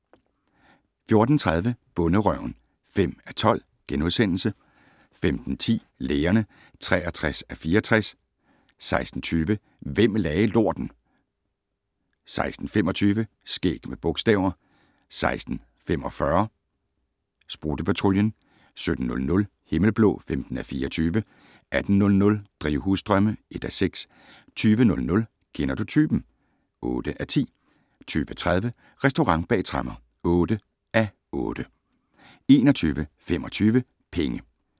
14:30: Bonderøven (5:12)* 15:10: Lægerne (63:64) 16:20: Hvem lagde lorten? 16:25: Skæg med bogstaver 16:45: Sprutte-Patruljen 17:00: Himmelblå (15:24) 18:00: Drivhusdrømme (1:6) 20:00: Kender du typen? (8:10) 20:30: Restaurant bag tremmer (8:8) 21:25: Penge